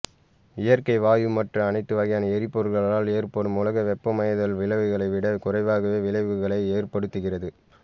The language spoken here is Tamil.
இயற்கை வாயு மற்ற அனைத்து வகையான எரிபொருள்களால் ஏற்படும் உலக வெப்பமயமாதல் விளைவுகளை விட குறைவாகவே விளைவுகளை ஏற்படுத்துகிறது